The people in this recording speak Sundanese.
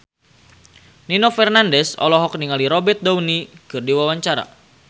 Nino Fernandez olohok ningali Robert Downey keur diwawancara